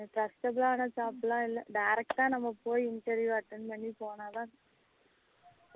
கஷ்டமான job லாம் இல்லை direct நம்ம போய் interview attend பண்ணி போனாதான்